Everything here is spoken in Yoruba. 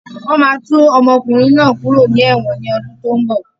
Wọn máa tú ọmọkùnrin náà kúrò ní ẹ̀wọ̀n ni ọdún tí ó ń bọ̀.